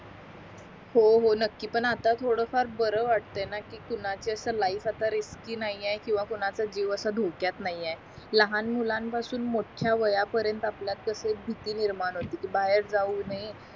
हो हो नकी पण आता थोडं फार बरं वाटाय ना कि कोणाच्या अशी लाईफ आता रिस्की नाही आहे किंवा कोणाचा जीव असा डोख्यात नाही आहे लहान मुलं पासून मोठ्या वाया पर्यंत आपल्यात कस एक भीती निर्माण होती कि बाहेर जाऊ नये